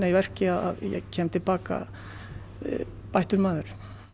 verki að ég kem til baka bættur maður